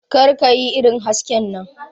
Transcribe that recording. Kar ka yi irin hasken nan.